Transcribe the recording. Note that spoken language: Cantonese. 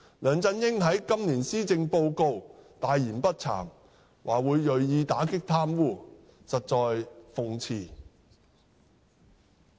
梁振英在今年施政報告大言不慚地說會銳意打擊貪污，實在諷刺。